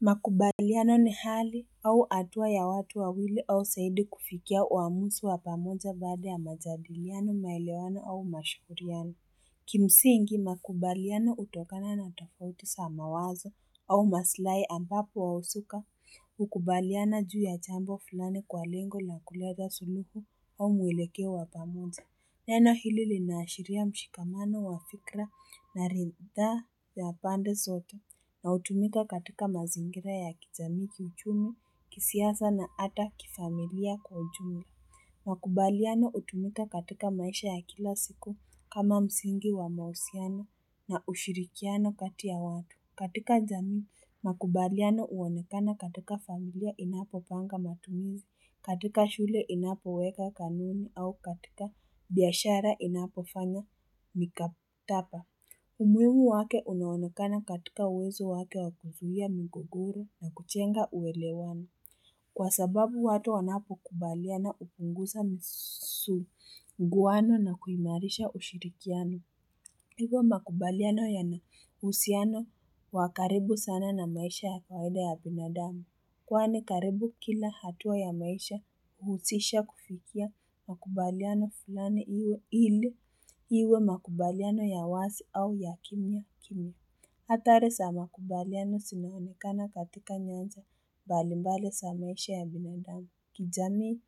Makubaliano ni hali au hatua ya watu wawili au zaidi kufikia uamuzi wa pamoja baada ya majadiliano maelewano au mashauriano Kimsingi makubaliano hutokana na tafouti za mawazo au masilahi ambapo wahusuka hukubaliana juu ya jambo fulani kwa lengo na kuleta suluhu au mwelekeo wa pamoja Neno hili linaashiria mshikamano wa fikra na ridhaa ya pande zote na hutumika katika mazingira ya kijamii kiuchumi, kisiasa na hata kifamilia kwa ujumla. Makubaliano hutumika katika maisha ya kila siku kama msingi wa mahusiano na ushirikiano kati ya watu. Katika jamii, makubaliano huonekana katika familia inapopanga matumizi, katika shule inapoweka kanuni au katika biashara inapofanya mikatapa. Umuhimu wake unaonekana katika uwezo wake wa kuzuia migogoro na kujenga uelewano. Kwa sababu watu wanapokubaliana hupunguza msuguano na kuimarisha ushirikiano. Hivo makubaliano yana uhusiano wa karibu sana na maisha ya faida ya binadamu. Kwani karibu kila hatua ya maisha huhusisha kufikia makubaliano fulani iwe ili iwe makubaliano ya wazi au ya kimya kimya. Hatari za makubaliano zinaonekana katika nyanja mbalimbali za maisha ya binadamu. Kijamii,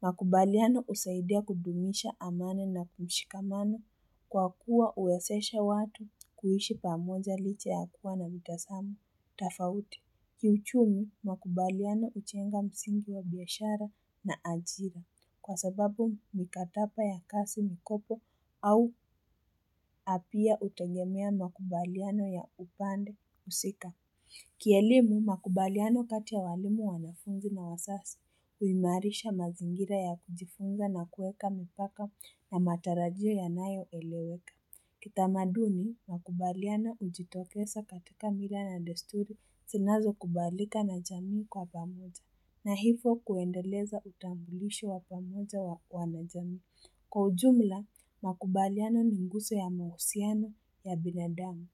makubaliano husaidia kudumisha amani na mshikamano kwa kuwa huwezesha watu kuishi pamoja licha ya kuwa na mitazamo. Tofauti Kiuchumi, makubaliano hujenga msingi wa biashara na ajira kwa sababu mikataba ya kazi mikopo au pia hutegemea makubaliano ya upande husika. Kielimu, makubaliano kati ya walimu wanafunzi na wazazi, huimarisha mazingira ya kujifunza na kuweka mipaka na matarajio yanayoeleweka. Kitamaduni, makubaliano hujitokeza katika mila na desturi zinazokubalika na jamii kwa pamoja. Na hivo kuendeleza utambulisho wa pamoja wa na jamii. Kwa ujumla, makubaliano ni nguzo ya mahusiano ya binadamu.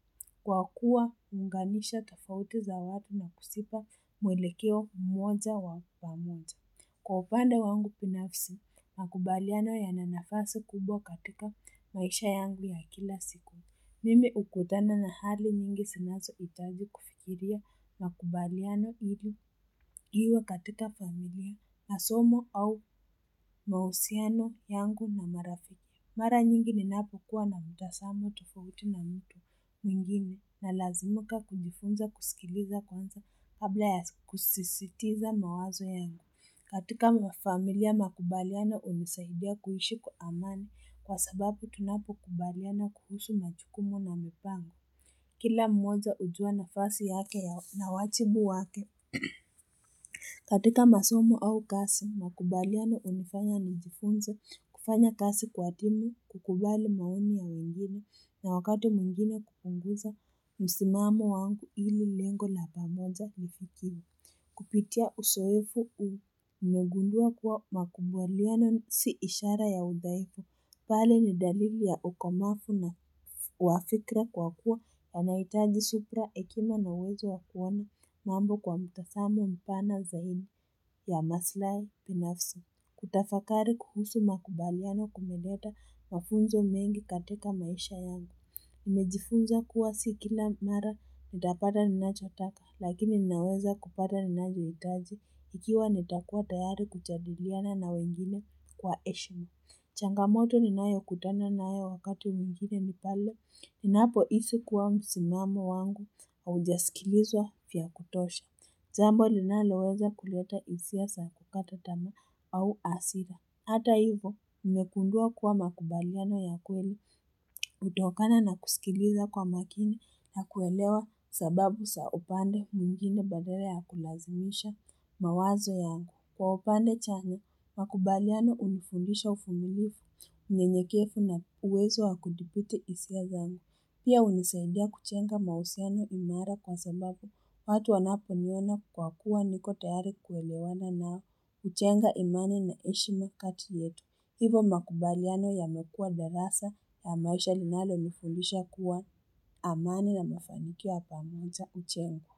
Kwa kuwa huunganisha tofauti za watu na kuzipa mwelekeo mmoja wa pamoja. Kwa upande wangu binafisi, makubaliano yana nafasi kubwa katika maisha yangu ya kila siku. Mimi hukatana na hali nyingi zinazohitaji kufikiria makubaliano ili iwe katika familia na somo au mahusiano yangu na marafiki. Mara nyingi ninapokuwa na mtazamo tofauti na mtu mwingine nalazimika kujifunza kusikiliza kwanza kabla ya kusisitiza mawazo yangu. Katika mafamilia makubaliano hunisaidia kuishi kwa amani kwa sababu tunapokubaliana kuhusu majukumu na mipango. Kila mmoja hujua nafasi yake na wajibu wake. Katika masomu au kazi, makubaliano hunifanya nijifunze kufanya kazi kwa timu, kukubali maoni ya wengine, na wakati mwingine kupunguza, msimamo wangu ili lengo la pamoja lifikiwe. Kupitia uzoefu nimegundua kuwa makubaliano si ishara ya udhaifu, bali ni dalili ya okamavu na uafikra kwa kuwa wanahitaji subira hekima na uwezo wa kuona mambo kwa mtazamo mpana zaidi ya masilahi binafsi. Kutafakari kuhusu makubaliano kumeleta mafunzo mengi katika maisha yangu. Nimejifunza kuwa si kila mara nitapata ninachotaka lakini ninaweza kupata ninavyohitaji ikiwa nitakuwa tayari kujadiliana na wengine kwa heshima. Changamoto ninayokutana nayo wakati mwingine ni pale ninapohisi kuwa msimamo wangu haujasikilizwa vya kutosha. Jambo linaloweza kuleta hisia za kukata tamaa au hasira. Hata hivyo, nimegundua kuwa makubaliano ya kweli hutokana na kusikiliza kwa makini na kuelewa sababu za upande mwingine badala ya kulazimisha mawazo yangu. Kwa upande chane, makubaliano hunifundisha uvumilivu unyenyekevu na uwezo wa kudhibiti hisia zangu. Pia hunisaidia kujenga mahusiano imara kwa sababu watu wanaponiona kwa kuwa niko tayari kuelewana nao, hujenga imani na heshima kati yetu, hivyo makubaliano yamekuwa darasa ya maisha linalonifundisha kuwa amani na mafanikio ya pamoja hujengwa.